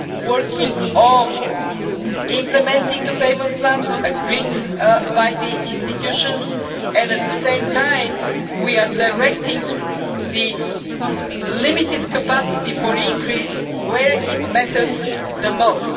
we are working on implementing the payment plan agreed by the institutions and at the same time, directing the limited capacity for increase to where it matters the